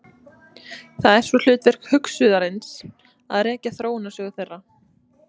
Það er svo hlutverk hugsuðarins að rekja þróunarsögu þeirra.